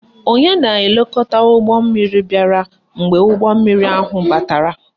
Onye na-elekọta ụgbọmmiri bịara mgbe ụgbọmmiri ahụ batara